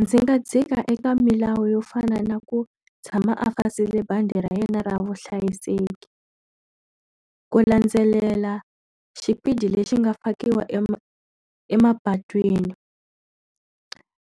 Ndzi nga dzika eka milawu yo fana na ku tshama a fasile bandi ra yena ra vuhlayiseki. Ku landzelela xipidi lexi nga fakiwa emapatwini.